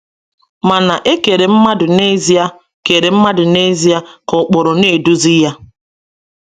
Mana e kere mmadụ n’ezie kere mmadụ n’ezie ka ụkpụrụ na-eduzi ya.